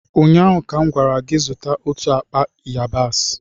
ụnyaahụ ka m gwara gị, zụta otu akpa yabasị!